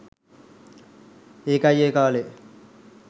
ඒකයි ඒ කාලේ